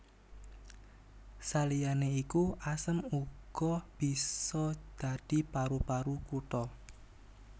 Saliyané iku asem uga bisa dadi paru paru kutha